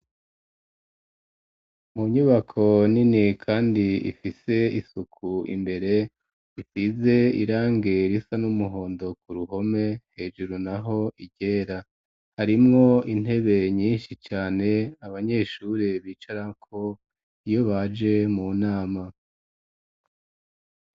Mu nyubako nini kandi ifise isuku imbere ifise irangi risa n'umuhondo ku ruhome hejuru naho iryera harimwo intebe nyishi cane abanyeshuri bicarako iyo baje mu nama.